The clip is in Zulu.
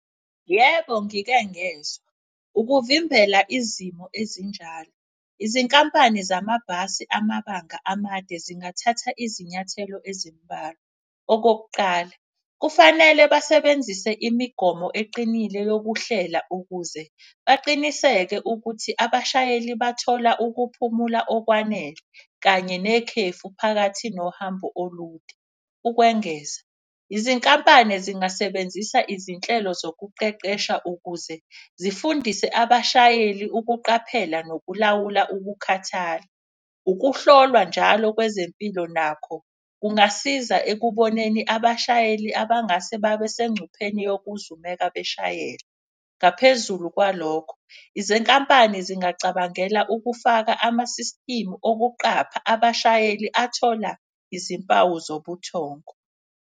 Yebo, ngike ngezwa ukuvimbela izimo ezinjalo, izinkampani zamabhasi amabanga amade zingathatha izinyathelo ezimbalwa. Okokuqala, kufanele basebenzise imigomo eqinile yokuhlela ukuze baqinisekise ukuthi abashayeli bathola ukuphumula okwanele kanye nekhefu phakathi nohambo olude. Ukwengeza izinkampani zingasebenzisa izinhlelo zokuqeqesha ukuze zifundise abashayeli ukuqaphela nokulawula ukukhathala. Ukuhlolwa njalo kwezempilo nakho kungasiza ekuboneni abashayeli abangase babesengcupheni yokuzumeka beshayela. Ngaphezulu kwalokho izinkampani zingacabangela ukufaka ama-system okuqapha abashayeli athola izimpawu zobuthongo.